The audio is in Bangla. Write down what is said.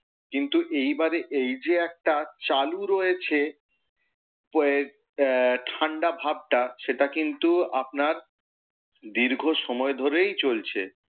কিন্তু এই বারে এই যে একটা চালু রয়েছে আহ ঠাণ্ডা ভাবটা সেটা কিন্তু দীর্ঘ সময় ধরেই চলছে।